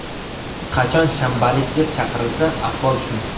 Qachon shanbalik deb chaqirilsa, ahvol shu.